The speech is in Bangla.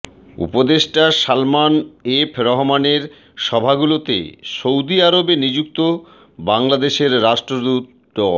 উপদেষ্টা সালমান এফ রহমানের সভাগুলোতে সৌদি আরবে নিযুক্ত বাংলাদেশের রাষ্ট্রদূত ড